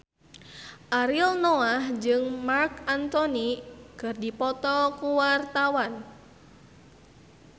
Ariel Noah jeung Marc Anthony keur dipoto ku wartawan